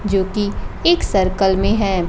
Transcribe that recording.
जो कि एक सर्कल में है।